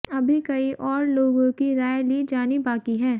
अभी कई और लोगों की राय ली जानी बाकी है